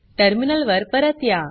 terminal वर परत या